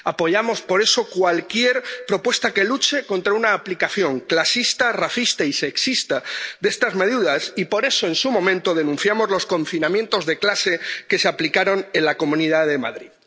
Apoyamos por eso cualquier propuesta que luche contra una aplicación clasista, racista y sexista de estas medidas y, por eso, en su momento, denunciamos los confinamientos de clase que se aplicaron en la Comunidad de Madrid.